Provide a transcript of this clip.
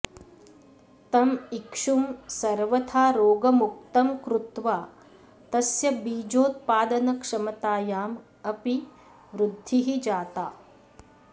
तम् इक्षुं सर्वथा रोगमुक्तं कृत्वा तस्य बीजोत्पादनक्षमतायाम् अपि वृद्धिः जाता